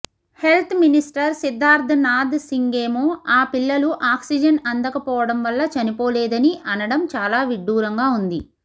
health minister Siddharth Nath సింగేమో ఆ పిల్లలు ఆక్సీజన్ అందకపోవడం వల్ల చనిపోలేదని అనడం చాలా విడ్డూరంగా వుంది